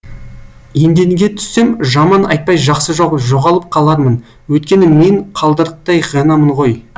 еденге түссем жаман айтпай жақсы жоқ жоғалып қалармын өйткені мен қылдырықтай ғанамын ғой